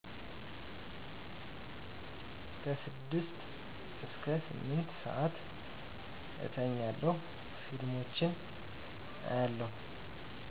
6-8ስዓት እተኛለሁ ፊልሞችን አያለው